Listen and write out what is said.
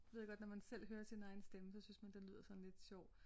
Ved jeg godt når man selv hører sin egen stemme så synes man den lyder sådan lidt sjov